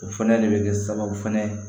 O fɛnɛ de bɛ kɛ sababu fɛnɛ ye